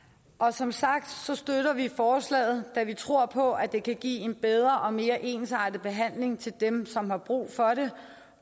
som sagt støtter vi forslaget da vi tror på at det kan give en bedre og mere ensartet behandling til dem som har brug for det